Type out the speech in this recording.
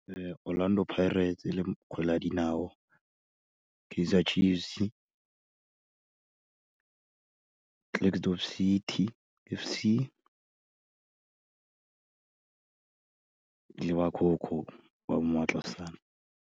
Orlando Pirates le kgwele ya dinao, Kaizer Chiefs, Klerksdorp City F_C, le ba CoCo ba ba mo Matlosana.